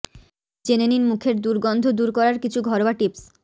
জেনে নিন মুখের দুর্গন্ধ দূর করার কিছু ঘরোয়া টিপস